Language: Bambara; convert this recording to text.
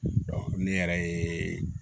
ne yɛrɛ ye